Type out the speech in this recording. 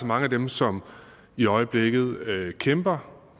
mange af dem som i øjeblikket kæmper